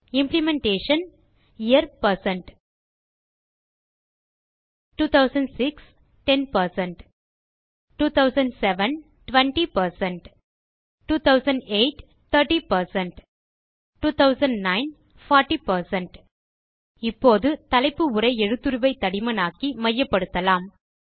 implementation Year160 2006 10 2007 20 2008 30 2009 40 இப்போது தலைப்பு உரை எழுத்துருவை தடிமனாக்கி மையப்படுத்தலாம்